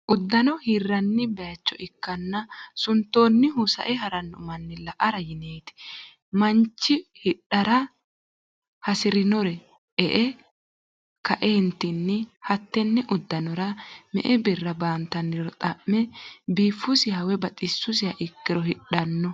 Udanno hiranni bayiicho ikana suntoonihuno sa'e haranno manni la'ara yineeti mannichu hidhara hasirirro e'e ka'eentinni hattenne udannora me'e birra bantanniro xame biifusiha woyi baxisisiha ikiro hidhanno.